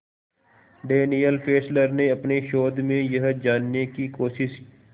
Daniel Fessler ने अपने शोध में यह जानने की कोशिश